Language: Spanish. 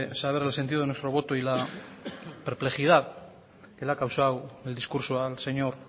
saber el sentido de nuestro voto y la perplejidad que le ha causado el discurso al señor